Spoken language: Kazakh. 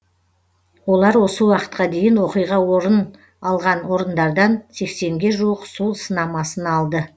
олар осы уақытқа дейін оқиға орын алған орындардан сексенге жуық су сынамасын алды